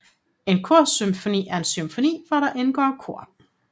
En korsymfoni er en symfoni hvor der indgår kor